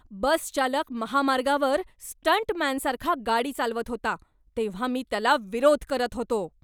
बस चालक महामार्गावर स्टंटमॅनसारखा गाडी चालवत होता, तेव्हा मी त्याला विरोध करत होतो.